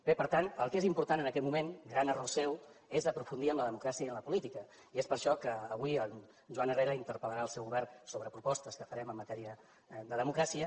bé per tant el que és important en aquest moment gran error seu és aprofundir en la democràcia i en la política i és per això que avui en joan herrera interpellarà el seu govern sobre propostes que farem en matèria de democràcia